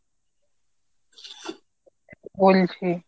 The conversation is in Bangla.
বলছি।